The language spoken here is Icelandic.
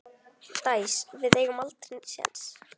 Dæs, við eigum aldrei séns!